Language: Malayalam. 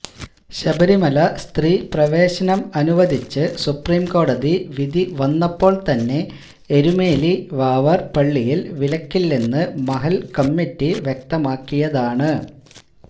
ശബരിമല സ്ത്രീപ്രവേശനം അനുവദിച്ച് സുപ്രീംകോടതി വിധി വന്നപ്പോൾ തന്നെ എരുമേലി വാവർ പള്ളിയിൽ വിലക്കില്ലെന്ന് മഹല്ല് കമ്മിറ്റി വ്യക്തമാക്കിയതാണ്